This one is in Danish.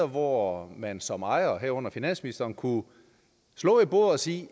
hvor man som ejer herunder finansministeren kunne slå i bordet og sige